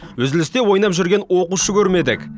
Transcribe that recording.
үзілісте ойнап жүрген оқушы көрмедік